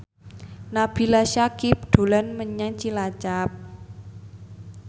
Nabila Syakieb dolan menyang Cilacap